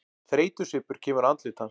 Þreytusvipur kemur á andlit hans.